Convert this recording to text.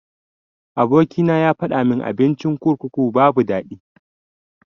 Aboki na yafadamin abincin kurkuku babu daɗi.